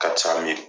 Ka ca miri